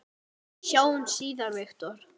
Sjáumst síðar, Viktor.